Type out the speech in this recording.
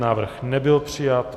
Návrh nebyl přijat.